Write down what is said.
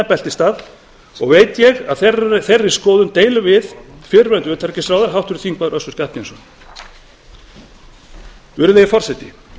beltisstað og veit ég að þeirri skoðun deilum við fyrrverandi utanríkisráðherra háttvirtur þingmaður össur skarphéðinsson virðulegi forseti